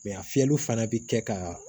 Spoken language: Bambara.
a fiyɛli fana bɛ kɛ ka